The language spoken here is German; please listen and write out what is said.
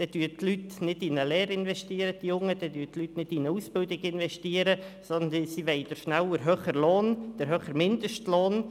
Dann investieren die jungen Leute nicht in eine Lehre, dann investieren die Leute nicht in eine Ausbildung, sondern sie wollen schnell den höheren Lohn, den höheren Mindestlohn.